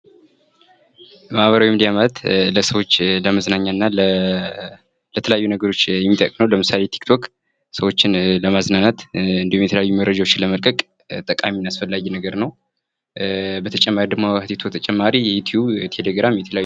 ማኅበራዊ ሚዲያ ማለት ለሰዎች ለመዝናኛ እና ለተለያዩ ነገሮች የሚጠቅም ነው ። ለምሳሌ ቲክቶክ ሰዎችን ለማዝናናት እንዲሁም የተለያዩ መረጃዎችን ለመልቀቅ ጠቃሚ እና አስፈላጊ ነገር ነው ። በተጨማሪ ደግሞ ከቲክቶክ በተጨማሪ ዩቲዩብ ቴሌግራም የተለያየ ።